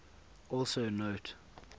also note